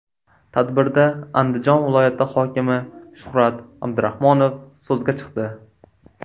Tadbirda Andijon viloyati hokimi Shuhrat Abdurahmonov so‘zga chiqdi.